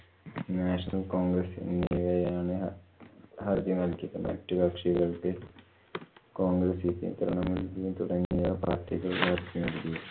national congress എന്നിവയാണ് ആദ്യമായിട്ട് മറ്റു കക്ഷികള്‍ക്ക് കോണ്‍ഗ്രസ്സിനു പുറമെ നിന്നു തുടങ്ങിയ party കള്‍